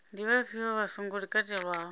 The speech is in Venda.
ndi vhafhio vha songo katelwaho